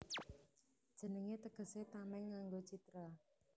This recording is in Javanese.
Jenengé tegesé Tamèng nganggo Citra